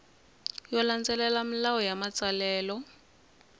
yo landzelela milawu ya matsalelo